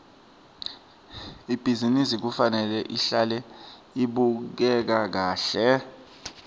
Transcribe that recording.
ibhizinisi kufanele ihlale ibukeka kahle